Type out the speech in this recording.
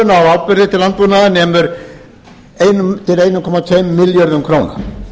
áburði til landbúnaðar nemur einum til einn komma tveimur milljónum króna